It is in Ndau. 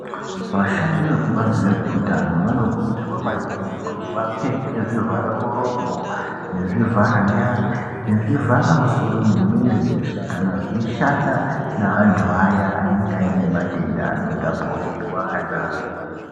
Vashandi vekubazi rezveutano vanokurudzirwa maningi kuti vapfeke zvivhara muromo nezvivhara nyara nezvivhara musoro nemwiri weshe kanaveishanda neantu aya anenga ane matenda anotapurirwana